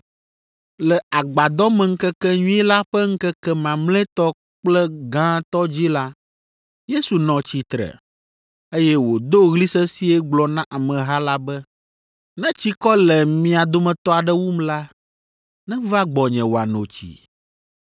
Le Agbadɔmeŋkekenyui la ƒe ŋkeke mamlɛtɔ kple gãtɔ dzi la, Yesu nɔ tsitre, eye wòdo ɣli sesĩe gblɔ na ameha la be, “Ne tsikɔ le mia dometɔ aɖe wum la, neva gbɔnye wòano tsi.